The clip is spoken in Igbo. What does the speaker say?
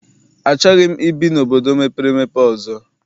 Achọghị m ibi n'obodo mepere emepe ọzọ.